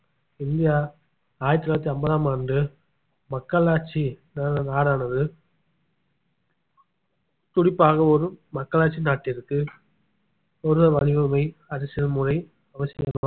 India ஆயிரத்தி தொள்ளாயிரத்தி ஐம்பதாம் ஆண்டு மக்களாட்சி நா~ நாடானது குறிப்பாக ஒரு மக்களாட்சி நாட்டிற்கு ஒரு வடிவமை அரசியல் முறை அவசியம்